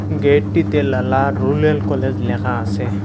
গেটটিতে Lala rural college লেখা আসে।